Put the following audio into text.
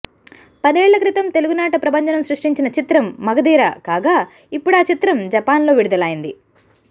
పదేళ్ల క్రితం తెలుగునాట ప్రభంజనం సృష్టించిన చిత్రం మగధీర కాగా ఇప్పుడా చిత్రం జపాన్ లో విడుదలైంది